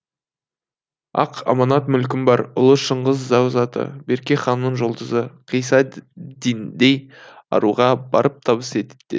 ақ аманат мүлкім бар ұлы шыңғыс зәу заты берке ханның жұлдызы қисса диндей аруға барып табыс ет деді